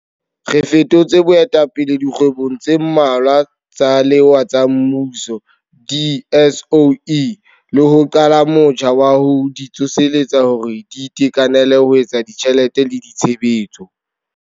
Re fetotse boetapele dikgwebong tse mmalwa tsa lewa tsa mmuso, di-SOE, le ho qala motjha wa ho di tsoseletsa hore di itekanele ho tsa ditjhelete le tshebetso.